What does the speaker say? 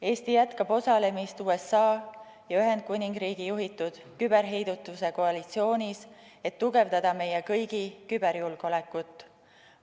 Eesti jätkab osalemist USA ja Ühendkuningriigi juhitud küberheidutuse koalitsioonis, et tugevdada meie kõigi küberjulgeolekut.